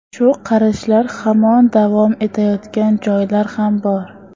Shu qarashlar hamon davom etayotgan joylar ham bor.